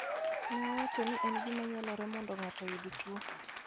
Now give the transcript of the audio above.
ne owacho ni en gima nyalore mondo ng'ato oyud tuo